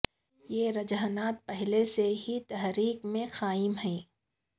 یہ رجحانات پہلے سے ہی تحریک میں قائم ہیں